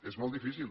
és molt difícil